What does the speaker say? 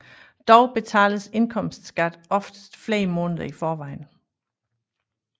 Dog betales indkomstskat oftest flere måneder i forvejen